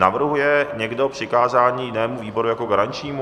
Navrhuje někdo přikázání jinému výboru jako garančnímu?